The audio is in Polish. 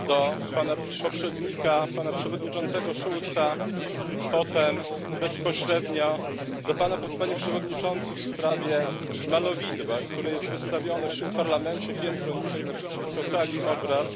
do Pana poprzednika, przewodniczącego Schulza, a potem bezpośrednio do Pana, Panie Przewodniczący, w sprawie malowidła, które jest wystawione w tym Parlamencie piętro niżej, naprzeciwko sali obrad,